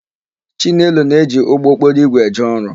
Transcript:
Chinelo na-eji ụgbọokporoigwe eje ọrụ.